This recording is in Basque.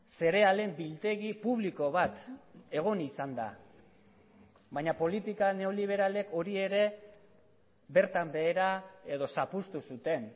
zerealen biltegi publiko bat egon izan da baina politika neoliberalek hori ere bertan behera edo zapuztu zuten